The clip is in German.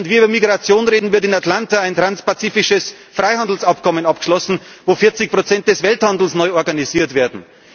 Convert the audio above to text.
Während wir über Migration reden, wird in Atlanta ein transpazifisches Freihandelsabkommen abgeschlossen, in dem 40 Prozent des Welthandels neu organisiert werden.